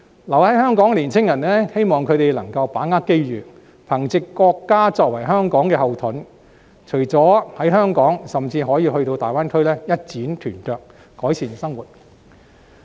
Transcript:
留在香港的年青人，希望他們能夠把握機遇，憑藉國家作為香港的後盾，除了在香港甚至也可到大灣區一展拳腳，改善生活。